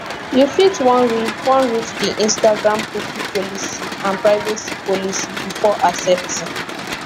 you fit wan read wan read di instagramcookie policyandprivacy policybefore accepting